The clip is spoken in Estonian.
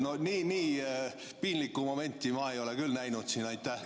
Nii piinlikku momenti ma ei ole küll siin näinud.